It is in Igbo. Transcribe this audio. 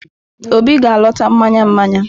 Obi ga-alọta mmanya mmanya.